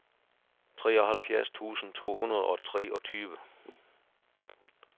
treoghalvfjerds tusind to hundrede og treogtyve